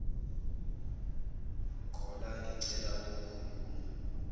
caller ngicela ukukhuluma